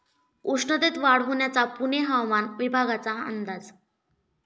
उष्णतेत वाढ होण्याचा पुणे हवामान विभागाचा अंदाज